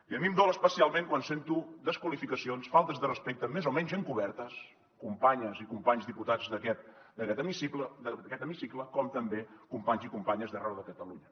i a mi em dol especialment quan sento desqualificacions faltes de respecte més o menys encobertes companyes i companys diputats d’hemicicle com també companys i companyes d’arreu de catalunya